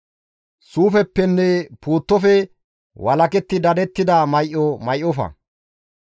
Suufeppenne puuttofe walaketti dadettida may7o may7ofa.